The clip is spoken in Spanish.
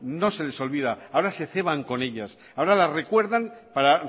no se les olvida ahora se ceban con ellas ahora las recuerdan para